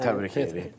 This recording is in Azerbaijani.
Təbrik edirik.